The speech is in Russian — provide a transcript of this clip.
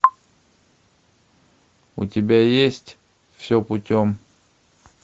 у тебя есть все путем